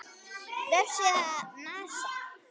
Vefsíða NASA.